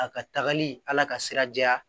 A ka tagali ala ka sira jɛra